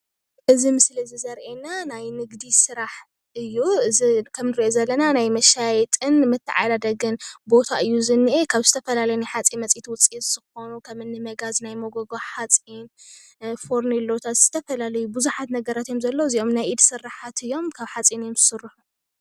እዚ ምስሊ እዚ ዘርኤና ናይ ንግዲ ስራሕ እዩ፡፡ እዚ ከም ዝሪኦ ዘለና መሻየጥን መተዓዳደግን ቦታ እዩ ዝኒአ፡፡ ካብ ዝተፈላለየ ናይ ሓፂን መፂን ውፅኢት ዝኾኑ ከም እኒ መጋዝ፣ ናይ መጎጎ ሓፂን፣ ፈርኔሎታት፣ ዝተፈላለዩ ብዙሓት ነገራት እዮም ዘለዉ፡፡ እዚኦም ናይ ኢድ ስራሓት እዮም፡፡ ካብ ሓፂን እዮም ዝስርሑ፡፡